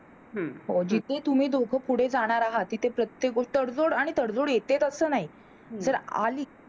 हो जिथे तुम्ही दोघे पुढं जाणार आहेत तिथे प्रत्येक गोष्ट, तडजोड आणि तडजोड येतेच असं नाही, जर आली,